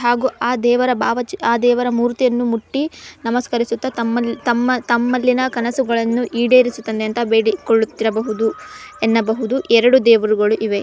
ಹಾಗು ಆ ದೇವರ ಭಾವ ಚಿತ್ ಆ ದೇವರ ಮೂರ್ತಿಯನ್ನು ಮುಟ್ಟಿ ನಮಸ್ಕರಿಸುತ್ತ ತಮ್ಮಲ್-ತಮ್ಮ-ತಮ್ಮಲ್ಲಿನ ಕನಸುಗಳನ್ನು ಈಡೇರಿಸು ತಂದೆ ಅಂತ ಬೇಡಿಕೊಳ್ಳುತ್ತಿರಬಹುದು ಎನ್ನಬಹುದು ಎರೆಡು ದೇವರುಗಳು ಇವೆ.